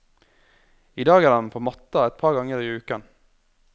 I dag er han på matta et par ganger i uken.